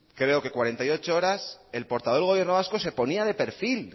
creo que cuarenta y ocho horas el portavoz del gobierno vasco se ponía de perfil